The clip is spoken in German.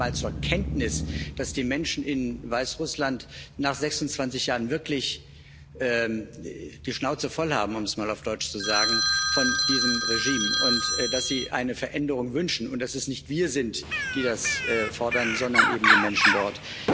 Nehmen Sie doch mal zur Kenntnis, dass die Menschen in Weißrussland nach 26 Jahren wirklich die Schnauze voll haben um es mal auf Deutsch zu sagen von diesem Regime und dass sie eine Veränderung wünschen und dass es nicht wir sind, die das fordern, sondern eben die Menschen dort.